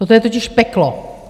Toto je totiž peklo!